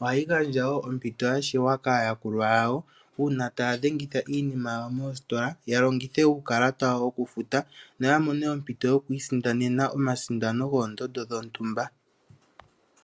,ohayi gandja woo ompito ya shewa kaayakulwa yawo uuna taya dhengitha iinima yawoo moositola ya longithe uukalata wawo okufuta yo yamone ompito yoku isindanena omasindano goondonso dhontumba.